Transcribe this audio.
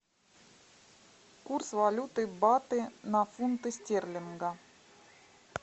курс валюты баты на фунты стерлинга